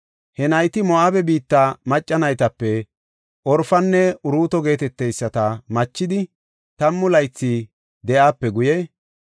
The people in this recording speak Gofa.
He nayti Moo7abe biitta macca naytape Orfanne Uruuto geeteteyisata machidi, tammu laythi de7aape guye,